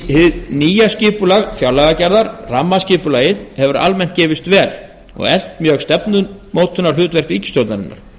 hið nýja skipulag fjárlagagerðar rammaskipulagið hefur almennt gefist vel og eflt mjög stefnumótunarhlutverk ríkisstjórnarinnar